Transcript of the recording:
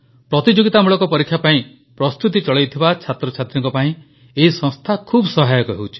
ପ୍ରତିଯୋଗିତାମୂଳକ ପରୀକ୍ଷା ପାଇଁ ପ୍ରସ୍ତୁତି ଚଳାଇଥିବା ଛାତ୍ରଛାତ୍ରୀଙ୍କ ପାଇଁ ଏହି ସଂସ୍ଥା ଖୁବ ସହାୟକ ହେଉଛି